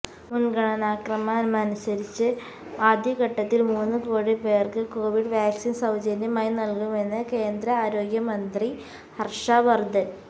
മുന്ഗണനാക്രമമനുസരിച്ച് ആദ്യഘട്ടത്തില് മൂന്ന് കോടി പേര്ക്ക് കോവിഡ് വാക്സിന് സൌജന്യമായി നല്കുമെന്ന് കേന്ദ്ര ആരോഗ്യമന്ത്രി ഹര്ഷ വര്ധന്